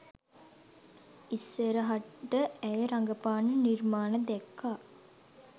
ඉස්සරහට ඇය රඟපාන නිර්මාණ දැක්කා